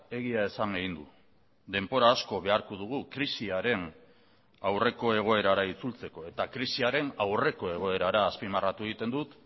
egia esan egin du denbora asko beharko dugu krisiaren aurreko egoerara itzultzeko eta krisiaren aurreko egoerara azpimarratu egiten dut